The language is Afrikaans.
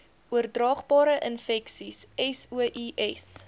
oordraagbare infeksies sois